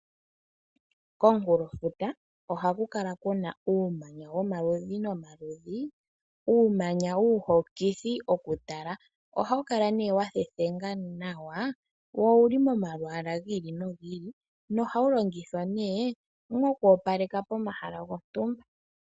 Komunkulofuta ohaku kala kuna uumanya womaludhi nomaludhi , uumanya uuhokithi mokutala . Ohawu kala wathethenga nawa , wo owuli momalwaala gi ili nogi ili. Ohawu longithwa wo oku opaleka pomahala gontumba